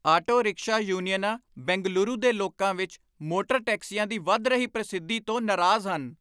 auto rickshaw ਯੂਨੀਅਨਾਂ ਬੰਗਲੁਰੂ ਦੇ ਲੋਕਾਂ ਵਿੱਚ ਮੋਟਰ ਟੈਕਸੀਆਂ ਦੀ ਵੱਧ ਰਹੀ ਪ੍ਰਸਿੱਧੀ ਤੋਂ ਨਾਰਾਜ਼ ਹਨ